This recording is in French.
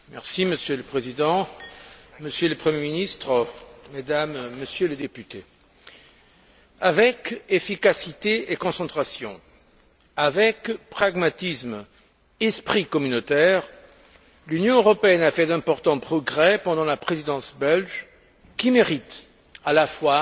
Monsieur le Président, Monsieur le Premier ministre, Mesdames et Messieurs les députés, avec efficacité et concentration, avec pragmatisme et esprit communautaire, l'Union a fait d'importants progrès pendant la Présidence belge, qui méritent à la fois